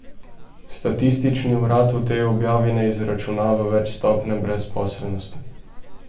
Statistični urad v tej objavi ne izračunava več stopnje brezposelnosti.